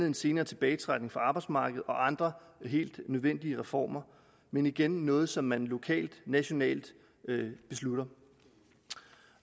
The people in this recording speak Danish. en senere tilbagetrækning fra arbejdsmarkedet og andre helt nødvendige reformer men igen noget som man lokalt og nationalt beslutter